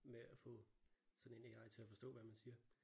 Med at få sådan en AI til at forstå hvad man siger